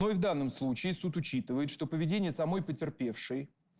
ну и в данном случае суд учитывает что поведение самой потерпевший